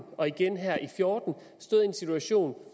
og igen her i og fjorten stået i en situation